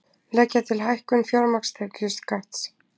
Leggja til hækkun fjármagnstekjuskatts